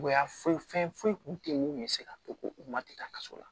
Foyi fɛn foyi kun tɛ yen mun bɛ se ka to ko u ma tɛ taa kaso la